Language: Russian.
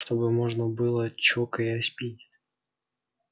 чтобы можно было чокаясь пить